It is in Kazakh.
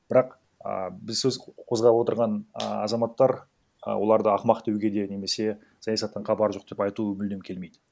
бірақ а біз сөз қозғап отырған а азаматтар а оларды ақымақ деуге де немесе саясаттан хабары жоқ деп айту мүлдем келмейді